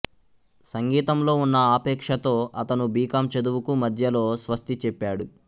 సంగీతంలో ఉన్న ఆపేక్షతో అతను బి కామ్ చదువుకు మధ్యలో స్వస్తి చెప్పాడు